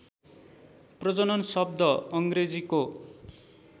प्रजनन शब्द अङ्ग्रेजीको